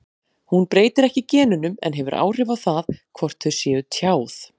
Hún breytir ekki genunum en hefur áhrif á það hvort þau séu tjáð.